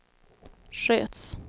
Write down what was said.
sköts